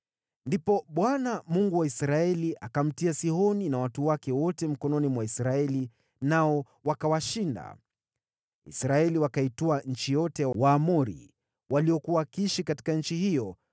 “Ndipo Bwana , Mungu wa Israeli, akamtia Sihoni na watu wake wote mikononi mwa Israeli, nao wakawashinda. Israeli wakaitwaa nchi yote ya Waamori, waliokuwa wakiishi katika nchi hiyo,